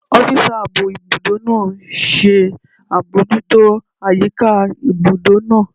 Ọ́físà ààbò ibùdó náà ṣe àbojútó àyíká ibùdó náà